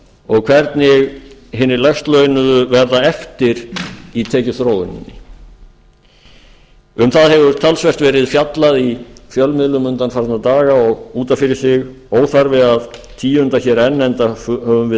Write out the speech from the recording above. og hvernig hinir lægst launuðu verða eftir í tekjuþróuninni um það hefur talsvert fjallað í fjölmiðlum undanfarna daga og út af fyrir sig óþarfi að tíunda hér enn enda höfum við